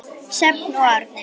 Sjöfn og Árni.